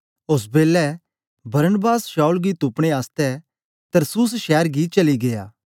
ओस बेलै Barnabas Saul गी तुपने आसतै तरसुस शैर गी चली गीया